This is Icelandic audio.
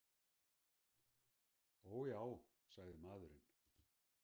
Ó já, sagði maðurinn.